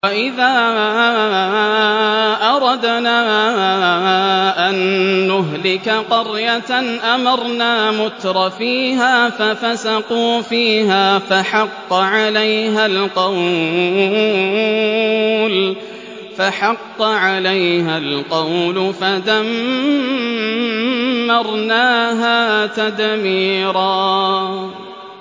وَإِذَا أَرَدْنَا أَن نُّهْلِكَ قَرْيَةً أَمَرْنَا مُتْرَفِيهَا فَفَسَقُوا فِيهَا فَحَقَّ عَلَيْهَا الْقَوْلُ فَدَمَّرْنَاهَا تَدْمِيرًا